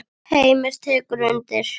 Heimir tekur undir.